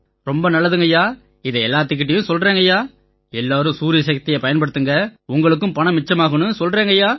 ரொம்ப நல்லது ஐயா இதை எல்லாத்துக்கிட்டயும் சொல்றோங்கய்யா எல்லாரும் சூரியசக்தியைப் பயன்படுத்துங்க உங்களுக்குப் பணம் மிச்சமாகும்ன்னு சொல்றோங்கய்யா